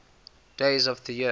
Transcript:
days of the year